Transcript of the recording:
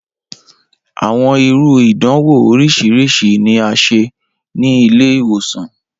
Awọn iru idanwo oriṣiriṣi ni a ṣe ni ile-iwosan.